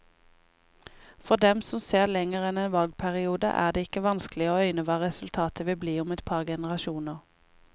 For dem som ser lenger enn en valgperiode, er det ikke vanskelig å øyne hva resultatet vil bli om et par generasjoner.